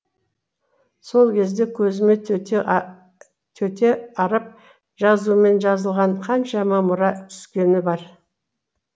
сол кезде көзіме төте араб жазуымен жазылған қаншама мұра түскені бар